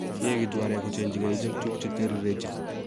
yeegitu areek kochengjige icheget tuguk chetirirenjin